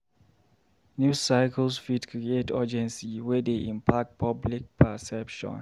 News cycles fit create urgency, wey dey impact public perception.